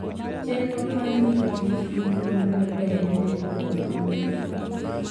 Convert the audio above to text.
Chenro mag rito kich gin gik madwarore ahinya kuom oganda dhano.